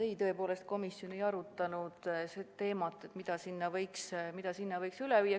Ei, tõepoolest, komisjon ei arutanud, mida sinna võiks veel üle viia.